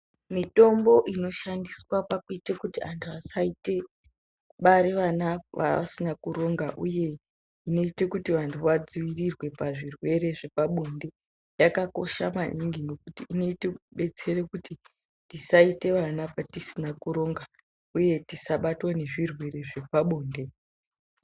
Mitombo inoshandiswa kuti vantu vasabare vana vavasina kuronga uye vanoita kuti vantu vadziirirwe pazvirwere zvepabonde yakakosha maningi nekuti inodetsera kuti tisaita vana patisina kuronga uye tisabatwa ngezvirwere zvepabonde.